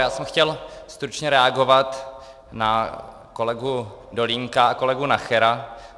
Já jsem chtěl stručně reagovat na kolegu Dolínka a kolegu Nachera.